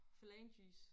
Phalanges